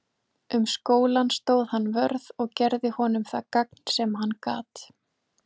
Um skólann stóð hann vörð og gerði honum það gagn sem hann gat.